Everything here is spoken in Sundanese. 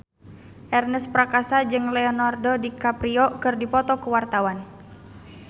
Ernest Prakasa jeung Leonardo DiCaprio keur dipoto ku wartawan